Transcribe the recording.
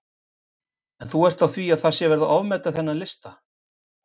En þú ert á því að það sé verið að ofmeta þennan lista?